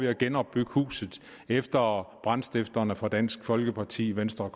at genopbygge huset efter brandstifterne fra dansk folkeparti venstre